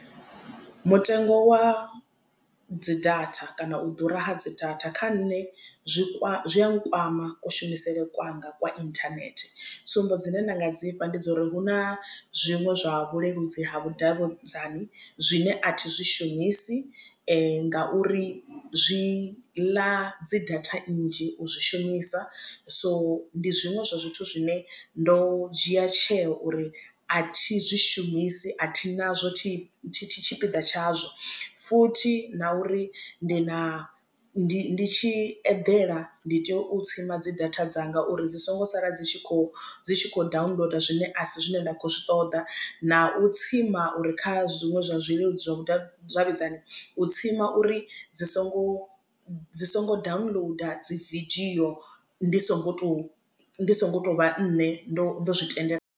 Mutengo wa dzi data kana u ḓura ha dzi data kha nṋe zwi zwi a nkwama kushumisele kwanga kwa internet tsumbo dzine nda nga dzi fha ndi dza uri hu na zwiṅwe zwa vhuleludzi ha vhudavhudzani zwine athi zwi shumisi ngauri zwi ḽa dzi data nnzhi u zwi shumisa. So ndi zwiṅwe zwa zwithu zwine ndo dzhia tsheo uri a thi zwishumisi athi nazwo thi tshipiḓa tshazwo. Futhi na uri ndi na ndi ndi tshi eḓela ndi tea u tsima dzi data dzanga uri dzi songo sala dzi tshi kho dzi kho downloader zwine asi zwine nda khou zwi ṱoḓa na u tsima uri kha zwiṅwe zwa zwithu zwileludzi zwa vhudavhidzani u tsima uri dzi songo dzi songo downloader dzi vidio ndi songo to ndi songo tovha nṋe ndo ndo zwi tendelaho.